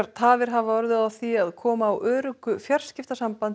tafir hafa orðið á því að koma á öruggu fjarskiptasambandi